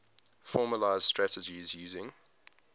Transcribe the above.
formalised strategies using